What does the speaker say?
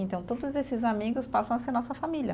Então, todos esses amigos passam a ser nossa família.